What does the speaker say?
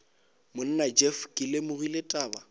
monna jeff ke lemogile taba